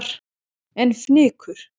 En fnykur